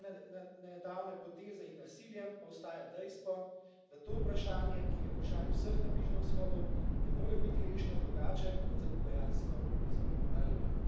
Ne glede na nedavne poteze in nasilje pa ostaja dejstvo, da to vprašanje, ki je vprašanje vseh na Bližnjem vzhodu, ne more biti rešeno drugače kot za pogajalsko mizo.